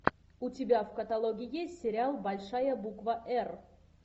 у тебя в каталоге есть сериал большая буква р